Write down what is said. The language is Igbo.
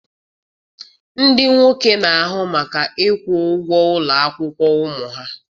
Ndị nwoke na-ahụ maka ịkwụ ụgwọ ụlọ akwụkwọ ụmụ ha.